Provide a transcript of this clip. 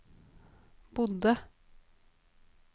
bodde